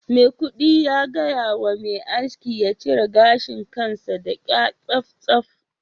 maikudu ya gaya wa mai aski ya cire gashin kansa da kya tsaftsaf